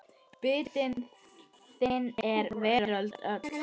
Biti þinn er veröld öll.